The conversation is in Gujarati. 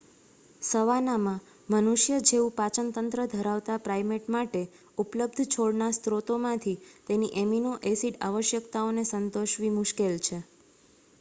સવાનામાં મનુષ્ય જેવું પાચન તંત્ર ધરાવતા પ્રાઈમેટ માટે ઉપલબ્ધ છોડના સ્રોતોમાંથી તેની એમિનો-એસિડ આવશ્યકતાઓને સંતોષવી મુશ્કેલ છે